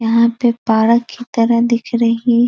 यहां पे पारक की तरह दिख रही --